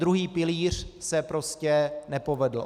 Druhý pilíř se prostě nepovedl.